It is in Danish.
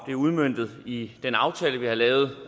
bliver udmøntet i den aftale vi har lavet